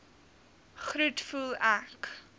groet voel ek